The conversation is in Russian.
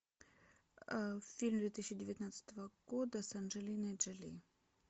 фильм две тысячи девятнадцатого года с анджелиной джоли